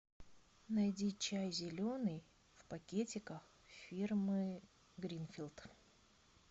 найди чай зеленый в пакетиках фирмы гринфилд